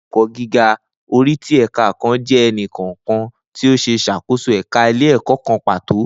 Ni ile-ẹkọ giga, ori ti ẹka kan jẹ ẹni kọọkan ti o ṣe ṣakoso ẹka ile-ẹkọ kan pato.